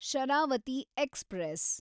Sharavati express